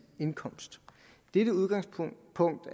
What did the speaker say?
indkomst dette udgangspunkt